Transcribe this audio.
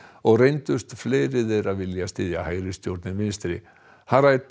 og reyndust fleiri þeirra vilja styðja hægristjórn en vinstri